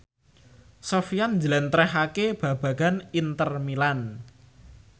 Sofyan njlentrehake babagan Inter Milan